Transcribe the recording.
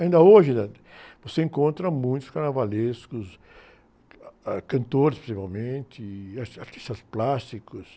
Ainda hoje, eh, você encontra muitos carnavalescos, ah, ãh, cantores, principalmente, e artistas, artistas plásticos.